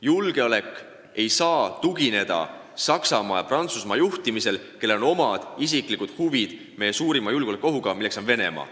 Julgeolek ei saa tugineda Saksamaa ja Prantsusmaa juhtimisele, kellel on omad isiklikud huvid suhetes meie suurima julgeolekuohuga, milleks on Venemaa.